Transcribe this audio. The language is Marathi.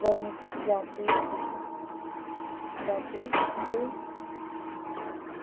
वर्णती व्यापे जाते ते